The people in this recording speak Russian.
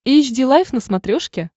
эйч ди лайф на смотрешке